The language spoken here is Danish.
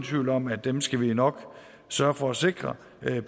tvivl om at dem skal vi nok sørge for at sikre